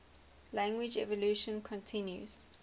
language evolution continues